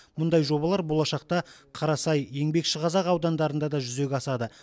мұндай жобалар болашақта қарасай еңбекшіқазақ аудандарында да жүзеге асады